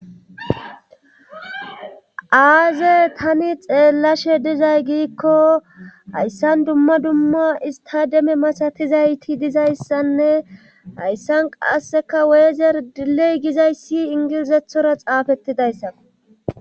aaze tani xeellashe dizay giikko hayssan dumma dumma istademe masatizayti dizayssanne hayssan qasseka weezer diley gizayssi ingilizethora xaafettidayssa